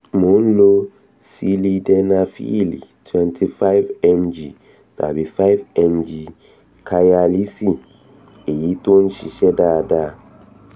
mò ń lo sílídenafíìlì [cs[ twenty five mg tàbí [cs[ five mg five mg káyálíìsì èyí tó ń ṣiṣẹ́ dáada